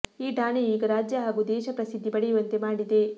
ಈ ಠಾಣೆಯು ಈಗ ರಾಜ್ಯ ಹಾಗೂ ದೇಶ ಪ್ರಸಿದ್ದಿ ಪಡೆಯುವಂತೆ ಮಾಡಿದೆ